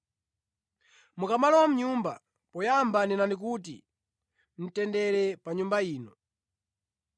“Mukamalowa mʼnyumba, poyamba nenani kuti, ‘Mtendere pa nyumba ino.’